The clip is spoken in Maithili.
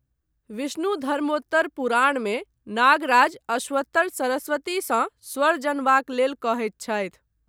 विष्णुधर्मोत्तर पुराणमे, नागराज अश्वत्तर सरस्वतीसँ स्वर जनबाक लेल कहैत छथि।